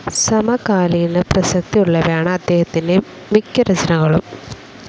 സമകാലീന പ്രസക്തിയുള്ളവയാണ് അദ്ദേഹത്തിൻ്റെ മിക്ക രചനകളും.